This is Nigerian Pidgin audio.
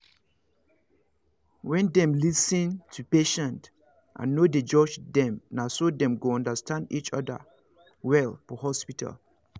when them lis ten to patient and no dey judge themnaso dem go understand each other other well for hospital